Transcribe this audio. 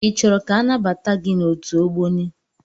I chọrọ ka anabata gị n'otu Ogboni?